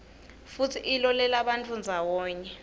futsi ilolelabantfu ndzawonye